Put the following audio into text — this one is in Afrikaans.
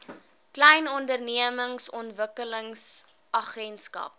klein ondernemings ontwikkelingsagentskap